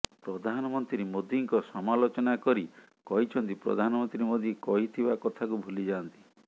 ପ୍ରଧାନମନ୍ତ୍ରୀ ମୋଦୀଙ୍କ ସମାଲୋଚନା କରି କହିଛନ୍ତି ପ୍ରଧାନମନ୍ତ୍ରୀ ମୋଦୀ କହିଥିବା କଥାକୁ ଭୁଲି ଯାଆନ୍ତି